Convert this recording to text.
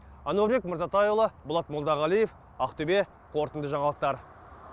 әнуарбек мырзатайұлы болат молдағалиев ақтөбе қорытынды жаңалықтар